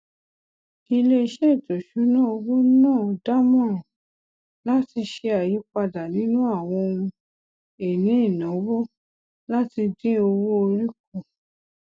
iléiṣẹ ètò ìṣúnná owó náà dámọràn láti ṣe àyípadà nínú àwọn ohun ìní ìnáwó láti dín owó orí kù